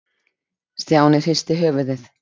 Stjáni hristi höfuðið.